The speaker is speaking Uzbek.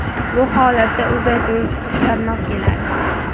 Bu holatda uzaytiruvchi tushlar mos keladi.